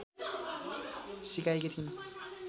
सिकाएकी थिइन्